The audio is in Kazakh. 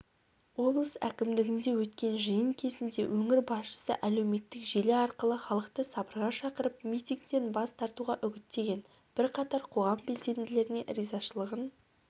облыс әкімдігінде өткен жиын кезінде өңір басшысы әлеуметтік желі арқылы халықты сабырға шақырып митингтен бас тартуға үгіттеген бірқатар қоғам белсенділеріне ризашылығын